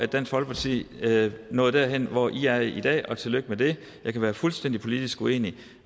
dansk folkeparti nåede derhen hvor i er i dag og tillykke med det jeg kan være fuldstændig politisk uenig